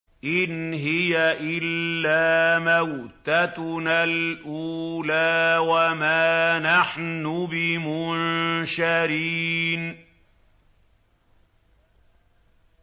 إِنْ هِيَ إِلَّا مَوْتَتُنَا الْأُولَىٰ وَمَا نَحْنُ بِمُنشَرِينَ